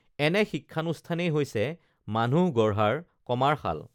এনে শিক্ষানুষ্ঠানেই হৈছে মানুহ গঢ়াৰ কমাৰশাল